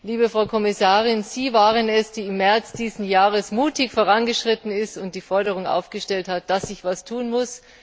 Liebe Frau Kommissarin, Sie waren es, die im März dieses Jahres mutig vorangeschritten ist und die Forderung aufgestellt hat, dass sich etwas tun muss.